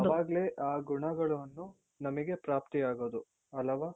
ಅವಾಗ್ಲೆ ಆ ಗುಣಗಳು ನಮಿಗೆ ಪ್ರಾಪ್ತಿಯಾಗೋದು.ಅಲವಾ?